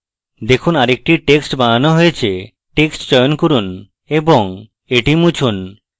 দেখুন আরেকটি text বানানো হয়েছে text চয়ন করুন এবং এটি মুছুন